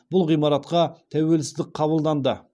бұл ғимаратқа тәуелсіздік қабылданды